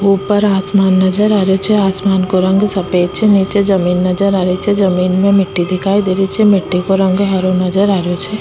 ऊपर आसमान नजर आ रेहो छे आसमान को रंग सफ़ेद छे नीचे जमीं नज़र आ री छे जमीं में मिट्टी दिखाई दे री छे मिट्टी को रंग हरो नजर आ रेहो छे।